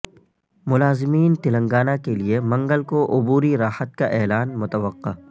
ملازمین تلنگانہ کیلئے منگل کو عبوری راحت کا اعلان متوقع